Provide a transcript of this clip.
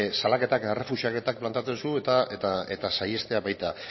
salaketak eta errefuxiaketak planteatzen zu eta saihestea baita